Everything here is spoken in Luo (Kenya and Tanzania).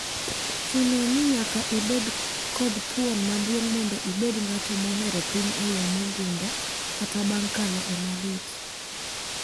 Chuno ni nyaka ibed kod thuon maduong mondo ibed ng'ato mohero pinye eyo mogundho kata bang kalo emalit.